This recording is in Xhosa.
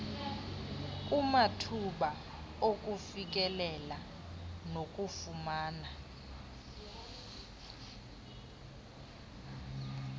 kumathuba okufikelela nawokufumana